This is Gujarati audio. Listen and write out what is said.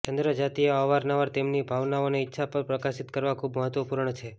ચંદ્ર જાતિઓ અવારનવાર તેમની ભાવનાઓને ઇચ્છા પર પ્રકાશિત કરવા ખૂબ મહત્વપૂર્ણ છે